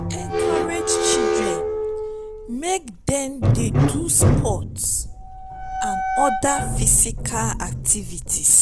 encourage children make dem do sports and oda physical activities